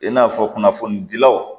I n'a fɔ kunnafonidilaw